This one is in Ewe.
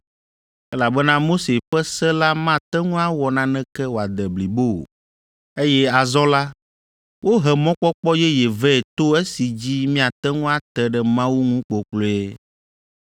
(elabena Mose ƒe Se la mate ŋu awɔ naneke wòade blibo o), eye azɔ la, wohe mɔkpɔkpɔ yeye vɛ to esi dzi míate ŋu ate ɖe Mawu ŋu kpokploe.